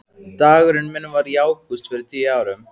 Dagurinn minn var í ágúst fyrir tíu árum.